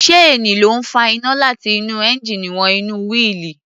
Ṣéènì ló ń fa iná láti inú ẹńjíìnì wọ inú wíìlì.